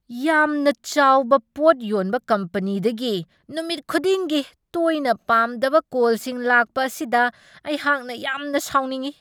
ꯌꯥꯝꯅ ꯆꯥꯎꯕ ꯄꯣꯠ ꯌꯣꯟꯕ ꯀꯝꯄꯅꯤꯗꯒꯤ ꯅꯨꯃꯤꯠ ꯈꯨꯗꯤꯡꯒꯤ ꯇꯣꯏꯅ ꯄꯥꯝꯗꯕ ꯀꯣꯜꯁꯤꯡ ꯂꯥꯛꯄ ꯑꯁꯤꯗ ꯑꯩꯍꯥꯛꯅ ꯌꯥꯝꯅ ꯁꯥꯎꯅꯤꯡꯢ ꯫